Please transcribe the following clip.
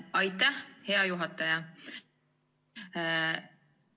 Aitäh, hea juhataja!